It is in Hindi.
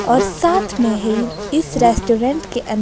और साथ में हीर इस रेस्टोरेंट के अंदर--